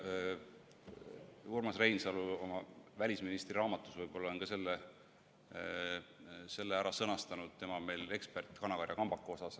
Urmas Reinsalu oma "Välisministri" raamatus on võib-olla selle kuidagi sõnastanud, tema on meil ekspert kanakarja kambaka asjus.